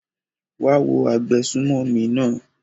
wá á wo agbésùmọ̀mí náà!